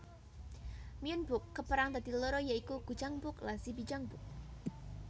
Myeonbok kaperang dadi loro ya iku Gujangbok lan Sibijangbok